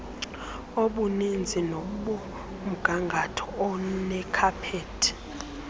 obuninzi kunomgangatho onekhaphethi